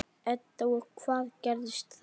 Edda: Og hvað gerist þá?